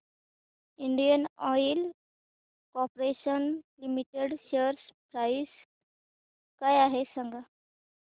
Indian oil corporation limited share price काय आहे सांगा